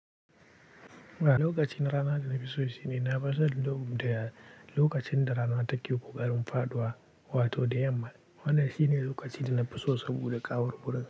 A, lokaci na rana da na fi so shine na fi son lokaci da lokacin da rana take ƙoƙarin faɗuwa wato da yamma. Wannan shine lokacin da na fi so saboda kawor wurin.